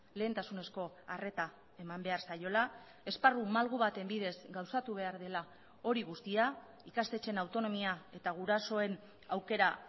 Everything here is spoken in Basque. lehentasunezko arreta eman behar zaiola esparru malgu baten bidez gauzatu behar dela hori guztia ikastetxeen autonomia eta gurasoen aukera